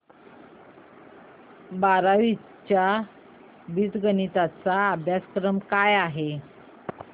बारावी चा बीजगणिता चा अभ्यासक्रम काय आहे